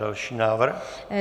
Další návrh.